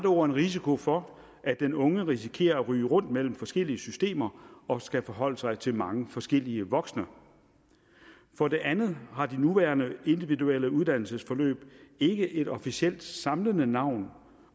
ord en risiko for at den unge risikerer at ryge rundt mellem forskellige systemer og skal forholde sig til mange forskellige voksne for det andet har de nuværende individuelle uddannelsesforløb ikke et officielt samlende navn